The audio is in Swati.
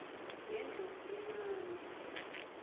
ngendlovulencane